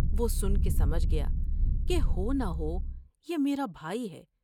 وہ سن کے سمجھ گیا کہ ہو نہ ہو یہ میرا بھائی ہے ۔